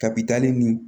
Kabi dali ni